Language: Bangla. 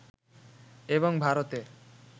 এবং ভারতে